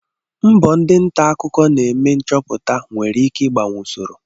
Mbọ ndị nta akụkọ na-eme nchọpụta nwere ikike ịgbanwe usoro.